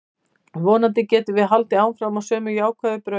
Vonandi getum við haldið áfram á sömu jákvæðu braut.